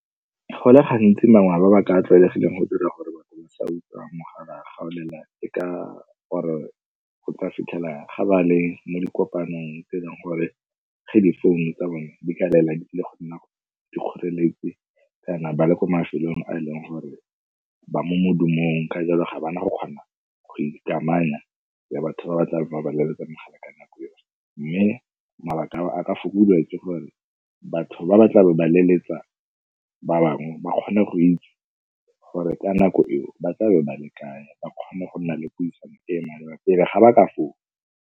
Go le gantsi mangwe a mabaka a a tlwaelegileng go dira gore batho ba sa utlwa mogala ga o lela e ka gore o tla fitlhelang ga ba le mo di kopanong tse e leng gore ge difounu tsa bone di ka lela le go nna dikgoreletsi kana ba le ko mafelong a e leng gore ba mo modumong ka jalo ga ba na go kgona go ikamanya le batho ba ba tlabe ba ba leletsa mogala ka nako eno. Mme mabaka a ka fokodiwa ke gore batho ba ba tla be ba leletsa ba bangwe ba kgone go itse gore ka nako eo ba tla be ba le kae ba kgone go nna le puisano pele ga ba ka founa.